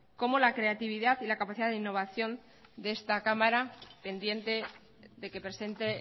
como la creatividad y la capacidad de innovación de esta cámara pendiente de que presente